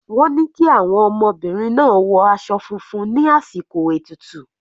Wọ́n ni kí àwọn ọmọbìnrin náà wọ aṣọ funfun ní àsìkò ètùtù.